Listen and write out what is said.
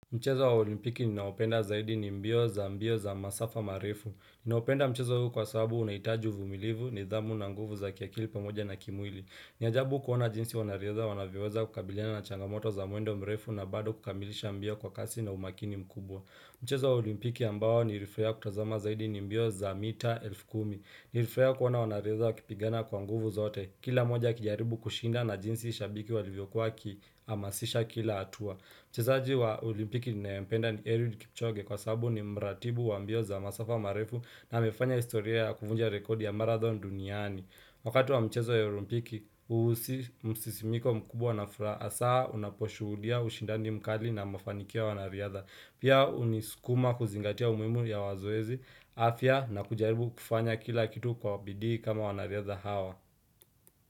Mchezo wa olimpiki ninaopenda zaidi ni mbio za mbio za masafa marifu. Ninaopenda mchezo huu kwa sababu unahitaji uvumilivu nidhamu na nguvu za kia kilpa moja na kimwili. Niajabu kuona jinsi wanariaha wanavyoweza kukabiliana na changamoto za muendo mrefu na bado kukamilisha mbio kwa kasi na umakini mkubwa. Mchezo wa olimpiki ambao nilifurahiya kutazama zaidi ni mbio za mita elfu kumi. Nilifurahia kuona wanaiadhaa wakipigana kwa nguvu zote. Kila moja kijaribu kushinda na jinsi shabiki walivyokuwa kihamasisha kila hatua. Mchezaaji wa olimpiki na mpenda ni Eliud Kipchoge kwa sabu ni mratibu wa mbio za masafa marefu na mefanya historia ya kuvunja rekodi ya marathon duniani. Wakati wa mchezo ya olimpiki, usisimiko mkubwa na fura hasa unaposhuhudia ushindandi mkali na mafanikio wanariadha. Pia unisukuma kuzingatia umuhmu ya wazuezi, afya na kujaribu kufanya kila kitu kwa bidi kama wanariadha hawa.